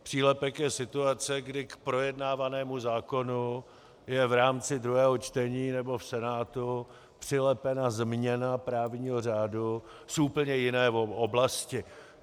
Přílepek je situace, kdy k projednávanému zákonu je v rámci druhého čtení nebo v Senátu přilepena změna právního řádu z úplně jiné oblasti.